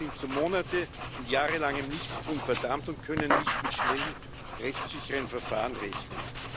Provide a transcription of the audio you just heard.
Die Menschen sind zu monate und jahrelangem Nichtstun verdammt und können nicht mit schnellen, rechtssicheren Verfahren rechnen.